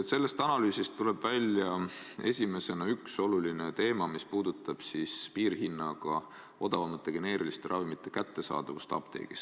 Sellest analüüsist tuleb esimesena välja üks oluline teema, mis puudutab piirhinnaga, odavamate geneeriliste ravimite kättesaadavust apteegis.